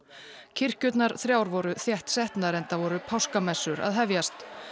kirkjurnar þrjár voru þéttsetnar enda voru páskamessur að hefjast